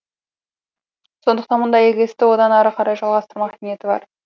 сондықтан мұндай игі істі одан ары қарай жалғастырмақ ниеті бар